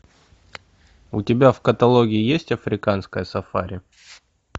у тебя в каталоге есть африканское сафари